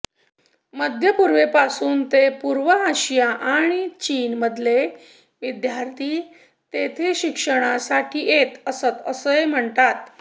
मध्यपूर्वेपासून ते पूर्व आशिया आणि चीनमधले विद्यार्थी तिथे शिक्षणासाठी येत असत असं म्हणतात